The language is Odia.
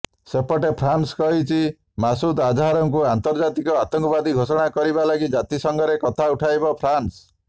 ସେପଟେ ଫ୍ରାନ୍ସ କହିଛି ମାସୁଦ୍ ଆଝାରକୁ ଆନ୍ତର୍ଜାତିକ ଆତଙ୍କବାଦୀ ଘୋଷଣା କରିବା ଲାଗି ଜାତିସଂଘରେ କଥା ଉଠାଇବ ଫ୍ରାନ୍ସ